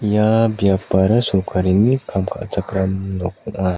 ia biapara sorkarini kam ka·chakram nok ong·a.